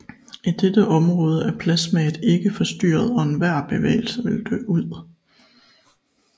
I dette område er plasmaet ikke forstyrret og enhver bevægelse vil dø ud